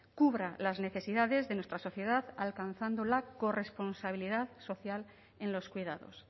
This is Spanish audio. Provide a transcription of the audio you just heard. cubra las necesidades de nuestra sociedad alcanzando la corresponsabilidad social en los cuidados